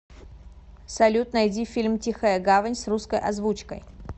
салют найди фильм тихая гавань с русской озвучкой